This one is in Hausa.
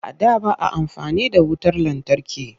A da ba a amfani da wutar lantarki